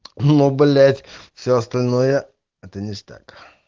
ну блять все остальное это ништяк